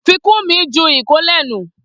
Fikunmi ju ìkólẹ̀ nù